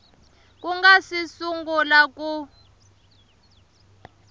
ku nga si sungula ku